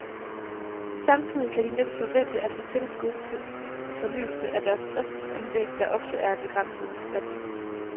Samtidig kan de næppe forvente at få tilskud til fornyelse af deres driftsanlæg, der ofte er af begrænset værdi.